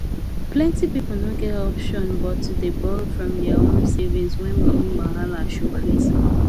plenty people no get option but to dey borrow from their own savings when money wahala show face